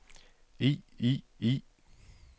i i i